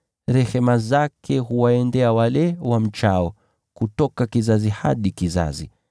Rehema zake huwaendea wale wamchao, kutoka kizazi hadi kizazi.